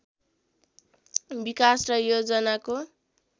विकास र योजनाको